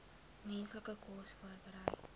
mense kos voorberei